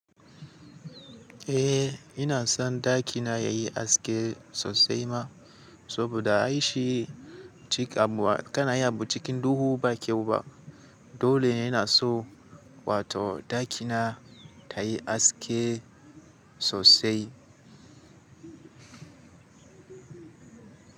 Eh ina son ɗakina yayi haske sosai ma saboda an yi shi cikakkuwa kanayi abu cikin duhu ba kyau ba dole ina so wato ɗakina tayi haske sosai.